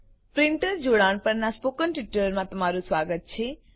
printer જોડાણ પરનાં spoken ટ્યુટોરીયલમાં તમારું સ્વાગત છે